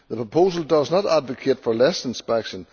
The proposal does not advocate less inspection.